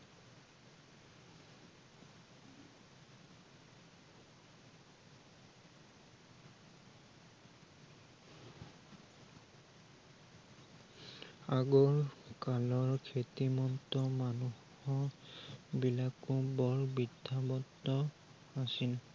আগৰ কালৰ খ্য়াতিমন্ত মানুহৰ বিলাকো বৰ বিদ্য়াৱন্ত আছিল